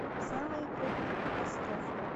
самые крупные катастрофы